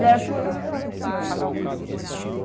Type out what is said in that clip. Falei, era tudo que eu esperava do senhor, pagar o remédio da senhora.